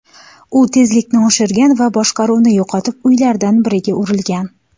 U tezlikni oshirgan va boshqaruvni yo‘qotib, uylardan biriga urilgan.